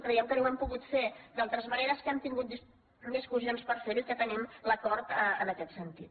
creiem que no ho hem pogut fer d’altres maneres que hem tingut discussions per fer ho i que tenim l’acord en aquest sentit